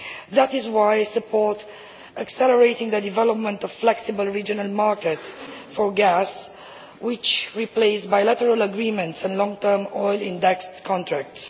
That is why I support accelerating the development of flexible regional markets for gas which replace bilateral agreements and long term oil indexed contracts.